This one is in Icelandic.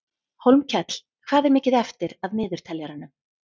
Hólmkell, hvað er mikið eftir af niðurteljaranum?